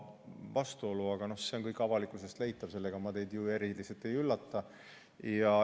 Aga see on kõik ju avalikult olemas ja leitav, nii et sellega ma teid eriti ei üllata.